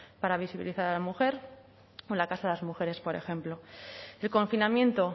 para visibilizar a la mujer o la casa de las mujeres por ejemplo el confinamiento